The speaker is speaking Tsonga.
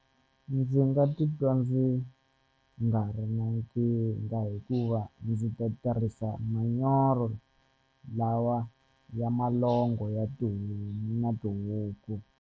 Ndzi nga titwa ndzi nga ri na nkingha hikuva ndzi ta tirhisa manyoro lawa ya malongo ya tihomu na tihuku.